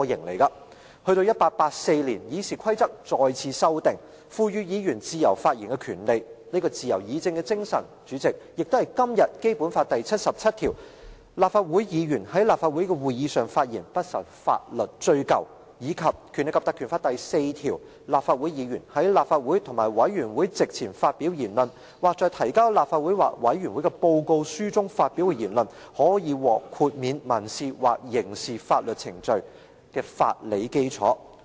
直至1884年，議事規則再次修訂，賦予議員自由發言的權利，這自由議政的精神，代理主席，亦是今天《基本法》第七十七條："立法會議員在立法會的會議上發言，不受法律追究"，以及《立法會條例》第4條訂明，立法會議員在立法會或委員會席前發表言論，或在提交立法會或委員會的報告書中發表的言論，可獲豁免民事或刑事法律程序的法理基礎。